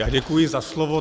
Já děkuji za slovo.